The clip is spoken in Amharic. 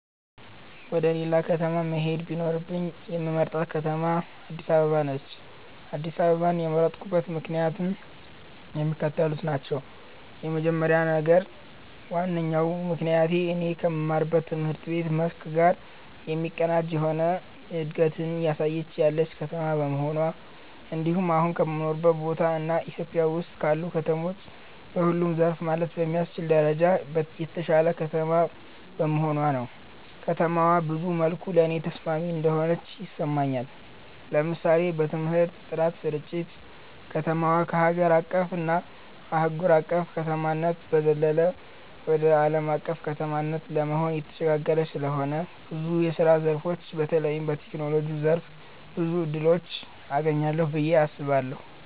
ወደ ሌላ ከተማ መሄድ ቢኖርብኝ የምመርጣት ከተማ አድስ አበባ ነች። አድስ አበባን የመረጥኩበት ምክንያትም የሚከተሉት ናቸው። የመጀመሪያው እና ዋነኛው ምክንያቴ እኔ ከምማረው ትምህርት መስክ ጋር የሚቀናጅ የሆነ እንደገት እያሳየች ያለች ከተማ በመሆኗ እንድሁም አሁን ከምኖርበት ቦታ እና ኢትዮጵያ ውስጥ ካሉ ከተሞች በሁሉም ዘርፍ ማለት በሚያስችል ደረጃ የተሻለች ከተማ በመሆኗ ነው። ከተማዋ ብዙ መልኩ ለኔ ተስማሚ እንደሆነች ይሰማኛል። ለምሳሌ በትምህርት ጥራት ስርጭት፣ ከተማዋ ከሀገር አቀፍ እና አህጉር አቅፍ ከተማነት በዘለለ ወደ አለም አቀፍ ከተማነት ለመሆን እየተሸጋገረች ስለሆነ ብዙ የስራ ዘርፎች በተለይም በቴክኖሎጂው ዘርፍ ብዙ እድሎችን አገኛለሁ ብየ አስባለሁ።